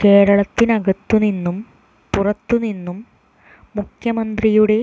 കേരളത്തിനകത്തുനിന്നും പുറത്തുനിന്നും മുഖ്യമന്ത്രിയുടെ